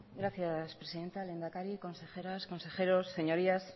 gracias presidenta lehendakari consejeras consejeros señorías